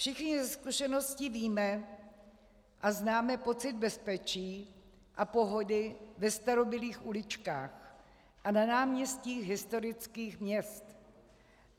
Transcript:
Všichni ze zkušenosti víme a známe pocit bezpečí a pohody ve starobylých uličkách a na náměstích historických měst.